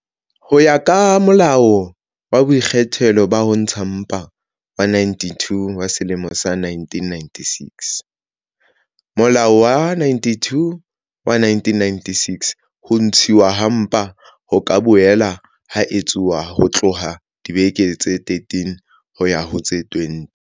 Ho ya ka Molao wa Boikgethelo ba Ho Ntsha Mpa wa 92 wa selemo sa 1996, molao wa 92 wa 1996, ho ntshuwa ha mpa ho ka boela ha etsuwa ho tloha dibekeng tse 13 ho ya ho tse 20